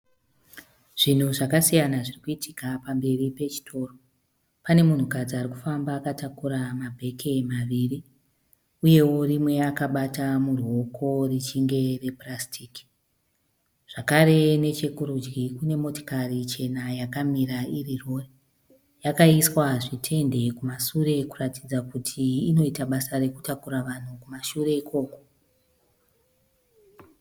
Zvinhu zvakasiyana zviri kuitika pamberi pechitoro. Pane munhukadzi ari kufamba akatakura mabheke maviri uyewo rimwe akabata muruoko richinge repurasiti zvakare nechekurudyi kune motikari chena yakamira iri rori. Yakaiswa zvitende kumashure kuratidza kuti inoita basa rekutakura vanhu kumashure ikoko.